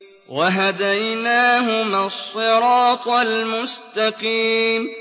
وَهَدَيْنَاهُمَا الصِّرَاطَ الْمُسْتَقِيمَ